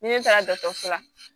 Ni ne taara dɔkɔtɔrɔso la